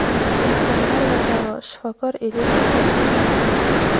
simptomlar va davo — shifokor Elizov tavsiyalari.